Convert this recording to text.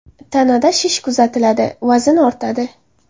Tanada shish kuzatiladi, vazn ortadi.